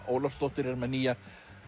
Ólafsdóttir er með nýja